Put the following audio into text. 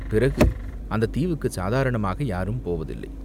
பிறகு அந்தத் தீவுக்குச் சாதாரணமாக யாரும் போவதில்லை.